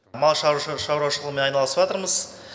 мал шаруашылығымен айналысыватырмыз